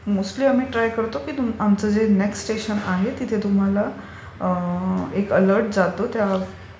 but mostly आम्ही try करतो की आमचं जे नेक्स्ट स्टेशन आहे तिथे तुम्हाला एक अलर्ट जातो